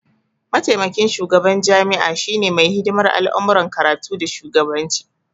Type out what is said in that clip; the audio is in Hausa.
Maitamakin shugaban jami'a shine mai hidimar al'amuran karatu da shugabanci